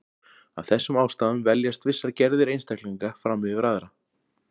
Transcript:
af þessum ástæðum veljast vissar gerðir einstaklinga fram yfir aðrar